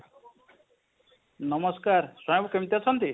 ନମସ୍କାର ବାବୁ କେମିତି ଅଛନ୍ତି?